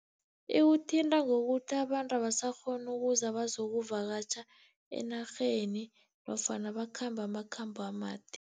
Iwuthinta ngokuthi abantu abasakghoni ukuza bazokuvakatjha enarheni, nofana bakhambe amakhambo amade.